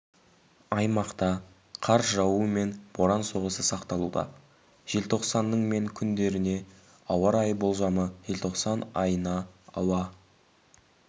аймақта қар жауу мен боран соғысы сақталуда желтоқсанның мен күндеріне ауа райы болжамы желтоқсан айына ауа